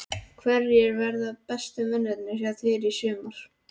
Hverjir verða bestu mennirnir hjá þér í sumar?